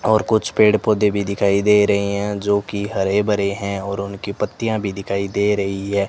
और कुछ पेड़ पौधे भी दिखाई दे रहे हैं जो की हरे भरे है और उनकी पत्तियां भी दिखाई दे रही है।